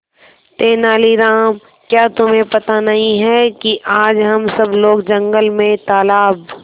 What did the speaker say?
तेनालीराम क्या तुम्हें पता नहीं है कि आज हम सब लोग जंगल में तालाब